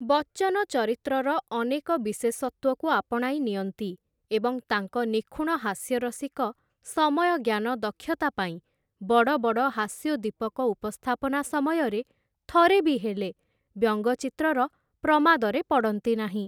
ବଚ୍ଚନ ଚରିତ୍ରର ଅନେକ ବିଶେଷତ୍ୱକୁ ଆପଣାଇ ନିଅନ୍ତି, ଏବଂ ତାଙ୍କ ନିଖୁଣ ହାସ୍ୟରସିକ ସମୟଜ୍ଞାନ ଦକ୍ଷତା ପାଇଁ, ବଡ଼ ବଡ଼ ହାସ୍ୟୋଦ୍ଦୀପକ ଉପସ୍ଥାପନା ସମୟରେ ଥରେ ବି ହେଲେ ବ୍ୟଙ୍ଗଚିତ୍ରର ପ୍ରମାଦରେ ପଡ଼ନ୍ତି ନାହିଁ ।